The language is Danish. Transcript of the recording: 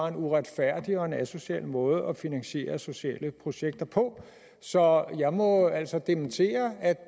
en uretfærdig og asocial måde at finansiere sociale projekter på så jeg må altså dementere at